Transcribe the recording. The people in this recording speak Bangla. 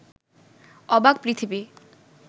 অবাক পৃথিবী